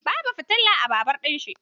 Babu fitila a babur ɗin shi.